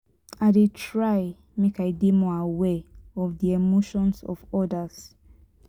i dey try make i dey more aware of di emotions of odas.